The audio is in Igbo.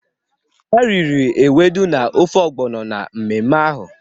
Ha riri ewedu na ofe ogbono na mmemme ahụ.